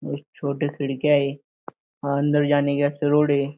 बहुत छोटे खिडक्या है अन्दर जाने के वास्ते रोड है।